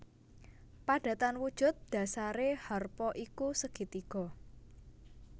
Padatan wujud dhasaré harpa iku segitiga